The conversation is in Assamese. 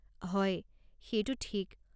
হয়, সেইটো ঠিক।